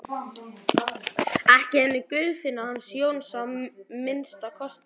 Ekki henni Guðfinnu hans Jóns að minnsta kosti.